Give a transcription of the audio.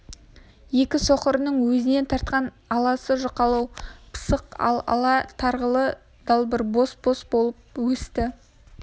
екі соқырының өзіне тартқан аласы жұқалау пысық ал тарғылы болбыр бос болып өсті